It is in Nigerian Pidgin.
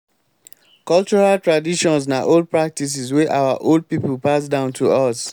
cultural traditions na old practices wey our old pipo pass down to us